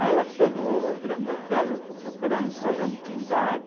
Aí ela falou, ô Grande Otelo, eu estou procurando o Solano Trindade.